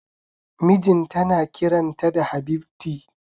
Mijinta na kiran ta da Habibti